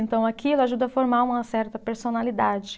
Então, aquilo ajuda a formar uma certa personalidade.